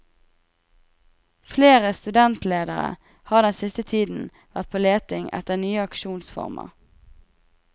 Flere studentledere har den siste tiden vært på leting etter nye aksjonsformer.